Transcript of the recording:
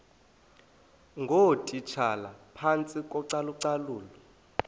ngootitshala phantsi kocalucalulo